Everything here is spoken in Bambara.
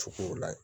Sugu la yen